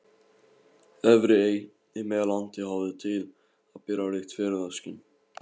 Efri-Ey í Meðallandi hafði til að bera ríkt fegurðarskyn.